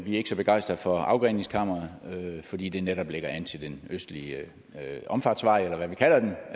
er ikke så begejstrede for afgreningskammeret fordi det netop lægger an til den østlige omfartsvej eller hvad vi kalder